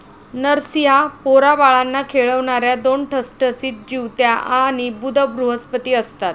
नरसिंहा पोराबाळांना खेळवणाऱ्या दोन ठसठसीत जिवत्याआणि बुध बृहस्पती असतात